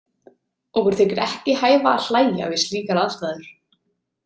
Okkur þykir ekki hæfa að hlæja við slíkar aðstæður.